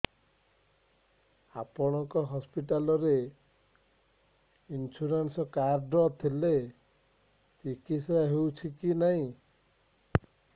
ଆପଣଙ୍କ ହସ୍ପିଟାଲ ରେ insurance card ଥିଲେ ଚିକିତ୍ସା ହେଉଛି କି ନାଇଁ